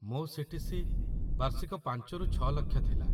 ମୋ ସି.ଟି.ସି. ବାର୍ଷିକ ୫ରୁ ୬ ଲକ୍ଷ ଥିଲା |